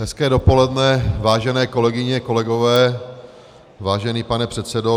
Hezké dopoledne, vážené kolegyně, kolegové, vážený pane předsedo.